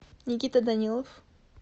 никита данилов